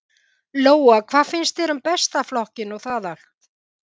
Lóa: Hvað finnst þér um Besta flokkinn og það allt?